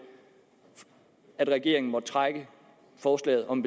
at regeringen måtte trække forslaget om